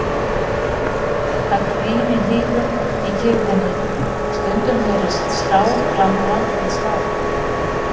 Það hvín í hnífum í kyrrðinni, stundum heyrist stál glamra við stál.